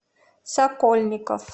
сокольников